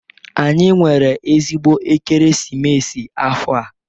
Anyị nwere ezigbo ekeresimesi afọ a.